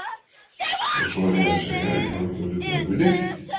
Og svo er ég að segja að ég hafi ekki orðið vör við neitt!